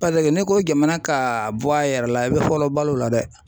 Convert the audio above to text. n'i ko jamana ka bɔ a yɛrɛ la i bɛ fɔlɔ balo la dɛ.